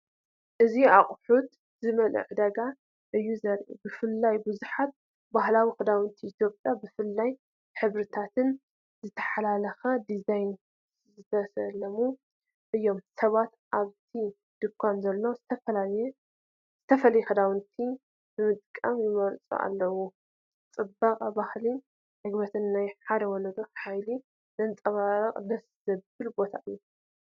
እዚ ኣቑሑት ዝመልአ ዕዳጋ እዩ ዘርኢ። ብፍላይ ብዙሓት ባህላዊ ክዳውንቲ ኢትዮጵያ ብፍሉይ ሕብርታትን ዝተሓላለኸ ዲዛይንን ዝተሰለሙ እዮም። ሰባት ካብቲ ድኳን ዘሎ ዝተፈላለየ ክዳውንቲ ብጥንቃቐ ይመርጹ ኣለዉ። ጽባቐ ባህልን ዕግበት ናይ ሓደ ወለዶ ሓይልን ዘንጸባርቕ ደስ ዘብል ቦታ እዩ።